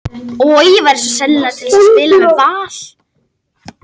Ég væri svo sannarlega til í að spila með Val.